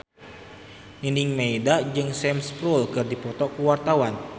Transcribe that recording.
Nining Meida jeung Sam Spruell keur dipoto ku wartawan